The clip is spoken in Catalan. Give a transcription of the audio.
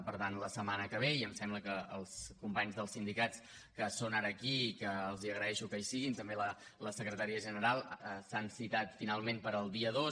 per tant la setmana que ve i em sembla que els companys dels sindicats que són ara aquí i que els agraeixo que hi siguin també la secretària general s’han citat finalment per al dia dos